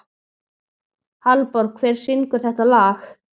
Hallborg, hver syngur þetta lag?